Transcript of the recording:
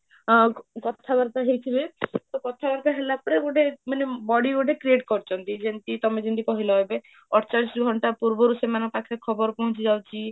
ଆଉ କଥା ବାର୍ତା ଚାଲିଛି ଯେ, ତ କଥାବାରତା ହେଲା ପରେ ଗୋଟେ ମାନେ body ଗୋଟେ create କରିଛନ୍ତି ଯେମିତି ତମେ ଯେମିତି କହିଲ ଏବେ ଅଠଚାଳିଶ ଘଣ୍ଟା ପୂର୍ବରୁ ସେମାନଙ୍କ ପାଖକୁ ଖବର ପହଞ୍ଚି ଯାଉଛି